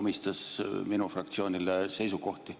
omistas minu fraktsioonile seisukohti.